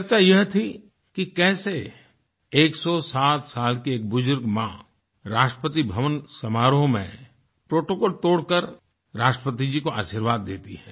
चर्चा यह थी कि कैसे एकसौ सात साल 107 की एक बुजुर्ग माँ राष्ट्रपतिभवन समारोह में प्रोटोकॉल तोड़कर राष्ट्रपति जी को आशीर्वाद देती है